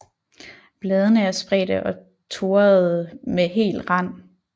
Bladene er spredte og toradede med hel rand